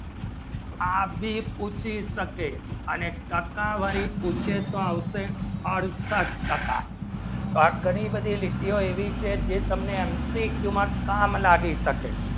આપ ભી પૂછી શકે અને ટક્કા વારી પૂછે તો આવશે અડસઠ ટક્કા આ ઘણી બધી લીખ્યો લેવી છે જે તમને anti cube માં કામ લાગી શકે